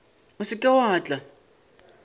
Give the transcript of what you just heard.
o se ke wa tla